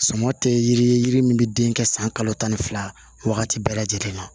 Sama tɛ yiri min bɛ den kɛ san kalo tan ni fila wagati bɛɛ lajɛlen na